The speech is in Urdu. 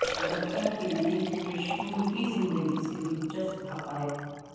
بچوں کے لئے پشکن کی زندگی سے دلچسپ حقائق